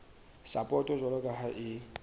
sapoto jwalo ka ha e